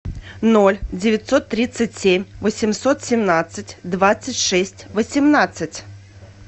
ноль девятьсот тридцать семь восемьсот семнадцать двадцать шесть восемнадцать